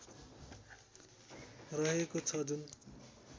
रहेको छ जुन